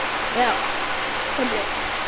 Já, töflur.